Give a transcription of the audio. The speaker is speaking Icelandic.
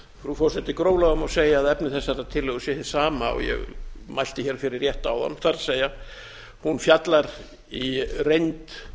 frú forseti gróflega má segja að efni þessarar tillögu sé hið sama og ég mælti hér fyrir rétt áðan það er hún fjallar í reynd